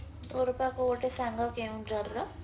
ତୋର ପା କୋଉ ଗୋଟେ ସାଙ୍ଗ କେଉଁଝରର